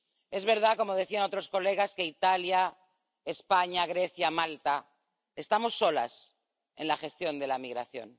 Es verdad, como decían otros colegas, que en Italia, España, Grecia y Malta estamos solos en la gestión de la migración.